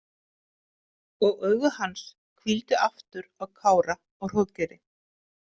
Og augu hans hvíldu aftur á Kára og Hróðgeiri.